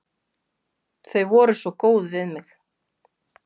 Þau voru svo góð við mig.